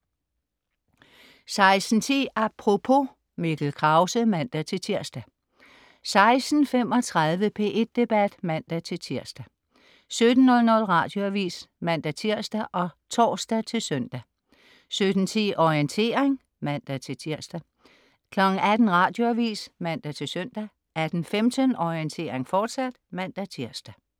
16.10 Apropos. Mikkel Krause (man-tirs) 16.35 P1 Debat (man-tirs) 17.00 Radioavis (man-tirs og tors-søn) 17.10 Orientering (man-tirs) 18.00 Radioavis (man-søn) 18.15 Orientering, fortsat (man-tirs)